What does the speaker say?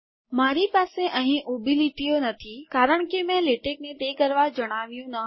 મારી પાસે અહી ઊભી લીટીઓ નથી કારણ કે મેં લેટેકને તે કરવા જણાવ્યું ન હતું